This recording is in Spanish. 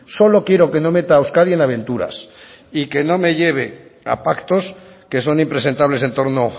solo quiero que no meta a euskadi en aventuras y que no me lleve a pactos que son impresentables en torno